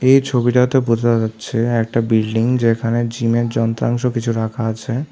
এই ছবিটাতে বোঝা যাচ্ছে একটা বিল্ডিং যেখানে জিমের যন্ত্রাংশ কিছু রাখা আছে।